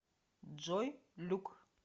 джой люк